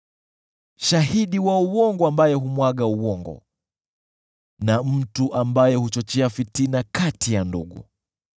shahidi wa uongo ambaye humwaga uongo, na mtu ambaye huchochea fitina kati ya ndugu.